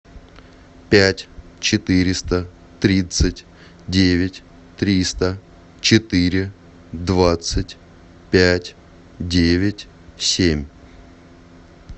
пять четыреста тридцать девять триста четыре двадцать пять девять семь